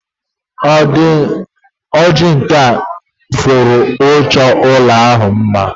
O ji nkà ifuru chọọ ụlọ ahụ mma